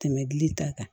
Tɛmɛ dili ta kan